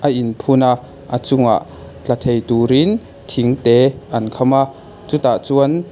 a in phun a a chungah tla thei turin thing te an kham a chutah chuan.